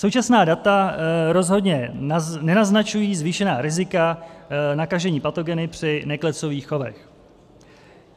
Současná data rozhodně nenaznačují zvýšená rizika nakažení patogeny při neklecových chovech.